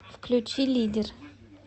включи лидер